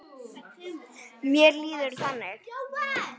Mér líður þannig.